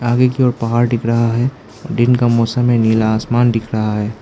आगे की ओर पहाड़ दिख रहा है और दिन का मौसम है नीला आसमान दिख रहा है।